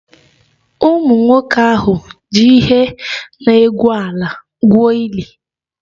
Ụmụnwoke ahụ ji ihe na-egwu ala gwuo ili